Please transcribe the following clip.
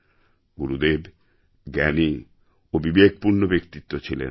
গুরুদেব জ্ঞান ও বিবেকপূর্ণ ব্যক্তিত্ব ছিলেন